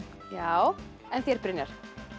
já en þér Brynjar